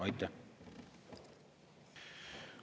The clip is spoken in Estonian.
Aitäh!